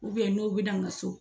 n'o bɛna n ka so.